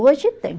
Hoje tem.